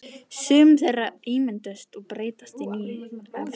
Sum þeirra ummyndast og breytast í ný efnasambönd.